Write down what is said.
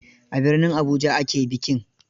A birnin Abuja ake bikin.